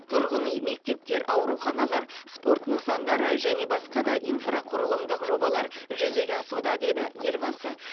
тұрғын үй мектептер ауруханалар спорт нысандары және басқа да инфрақұрылымдық жобалар жүзеге асуда деді елбасы